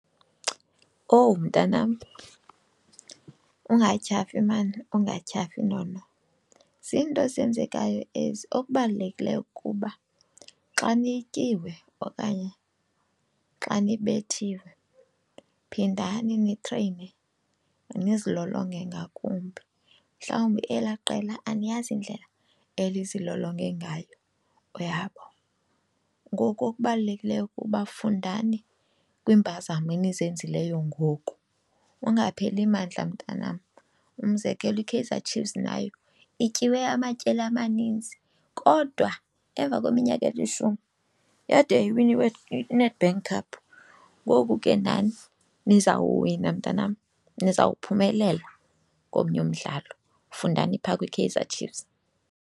Owu, mntanam ungatyhafi maan, ungatyhafi nono. Zinto ezenzekayo ezi, okubalulekileyo kuba xa nityiwe okanye xa nibethiwe phindani nitreyine nizilolonge ngakumbi. Mhlawumbi elaa qela aniyazi indlela elizilolonge ngayo, uyabo. Ngoku okubalulekileyo kuba fundani kwiimpazamo enizenzileyo ngoku, ungapheli mandla mntanam. Umzekelo iKaizer Chiefs nayo ityiwe amatyeli amaninzi kodwa emva kweminyaka elishumi yade yayiwina iNedbank Cup. Ngoku ke nani nizawuwina mntanam, nizawuphumelela komnye umdlalo, fundani phaa kwiKaizer Chiefs.